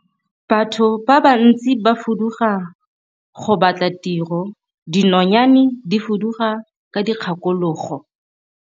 Batho ba bantsi ba fuduga go batla tiro, dinonyane di fuduga ka dikgakologo.